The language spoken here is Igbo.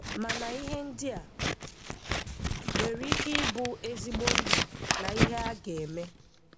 Mana ihe ndị a nwere ike ịbụ ezigbo ndu na ihe a ga-eme: